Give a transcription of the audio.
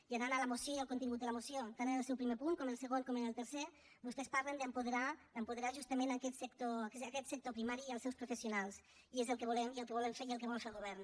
i anant a la moció i al contingut de la moció tant en el seu primer punt com en el segon com en el tercer vostès parlen d’apoderar justament aquest sector primari i els seus professionals i és el que volem el que volem fer i el que vol fer el govern